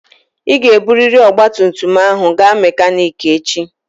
Ị ga-eburịrị ọgba tum tum ahụ gaa mekaniki echi!